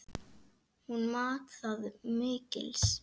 Hún mat það mikils.